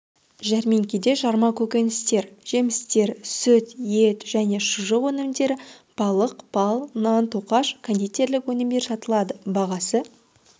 жәрмеңкеде жарма көкөністер жемістер сүт ет және шұжық өнімдері балық бал нан-тоқаш кондитерлік өнімдер сатылады бағасы